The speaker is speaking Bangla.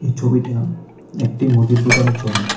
ছবিটা একটি মুদির দোকানের ছবি।